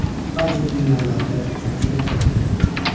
Ba’zi binolarda kamchiliklar bo‘lgan.